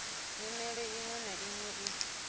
nyimele iṅwe na iṅwe i